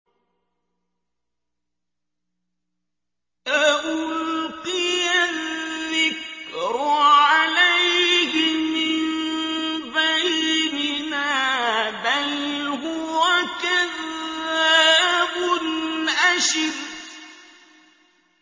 أَأُلْقِيَ الذِّكْرُ عَلَيْهِ مِن بَيْنِنَا بَلْ هُوَ كَذَّابٌ أَشِرٌ